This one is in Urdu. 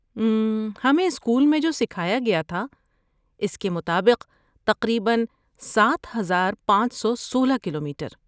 اممم، ہمیں اسکول میں جو سکھایا گیا تھا اس کے مطابق، تقریباً، سات ہزار پانچ سو سولہ کلومیٹر؟